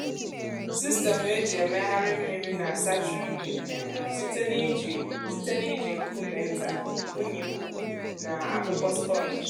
sistemụ eji emegharị mmiri na-asacha unyi um site n’iji site n’iji nkume nta unyi ukwu na akpụkpọ sponge.